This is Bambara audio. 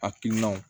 Hakilinaw